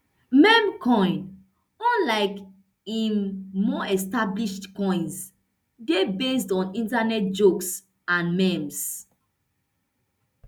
meme coin unlike im more established coins dey based on internet jokes and memes